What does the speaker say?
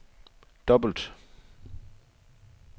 dobbelt